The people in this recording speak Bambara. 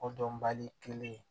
O dɔnbali kelen